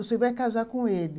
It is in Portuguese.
Você vai casar com ele.